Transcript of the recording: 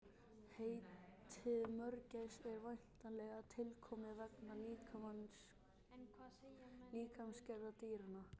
Heitið mörgæs er væntanlega tilkomið vegna líkamsgerðar dýranna.